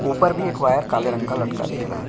ऊपर भी एक वायर काले रंग का लटका दिख रहा है।